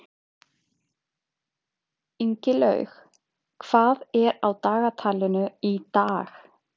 Ingilaug, hvað er á dagatalinu í dag?